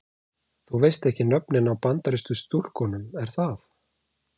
Þú veist ekki nöfnin á Bandarísku stúlkunum er það?